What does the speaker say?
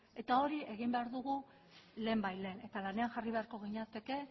eta hori egin behar dugu lehenbailehen eta lanean jarri beharko ginateke